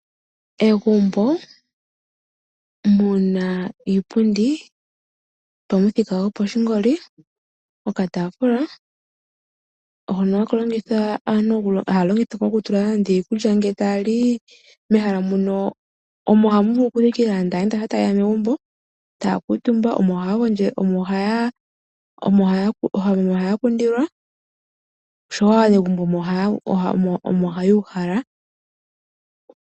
Egumbo mu na iipundi yopamuthika gopashinanena, okataafula hono haka longithwa kaantu okutula iikulya ngele taya li. Mehala mu no omo hamu vulu okuthikila aayenda uuna taye ya megumbo, taya kuutumba, omo haya kundilwa osho wo aanegumbo omo haya uhala.